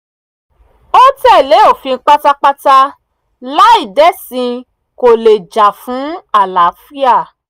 ó tẹ̀lé òfin pátápátá láì dẹ̀sìn kó lè jà fún àlàáfíà